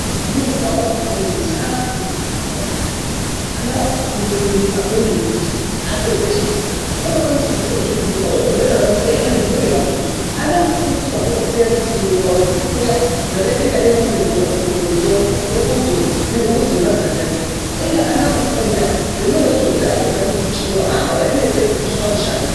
Mu zvikora mwomwo ana akufunde zviro zvakawanda maningi ana ari kufunde kurima kwemene kuti apedze chikora unokwanise kutozvi rimira otozvi raramisa iyena ne mburi yake ana akufundiswa zve kupfuya zvipfuyo zveku pfuya zvakaita kunga tee mombe dzo nguruwe dzoo huku dzoo huku dze mazanda dziya uye ana akufunda zvona zvozvo apedza chikora aambo neseki kutsvaka mushando.